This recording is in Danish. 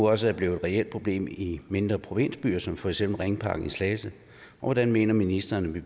også er blevet et reelt problem i mindre provinsbyer som for eksempel i ringparken i slagelse og hvordan mener ministeren